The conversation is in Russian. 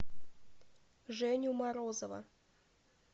женю морозова